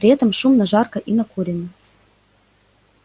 при этом шумно жарко и накурено